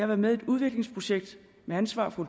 været med i et udviklingsprojekt med ansvar for